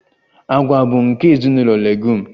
Agwa bụ nke ezinụlọ Leguum